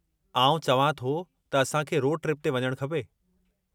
आउं चवां थो त असां खे रोड ट्रिप ते वञणु खपे।